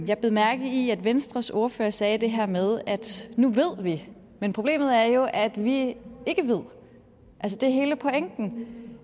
jeg bed mærke i at venstres ordfører sagde det her med at nu ved vi men problemet er jo at vi ikke ved det er hele pointen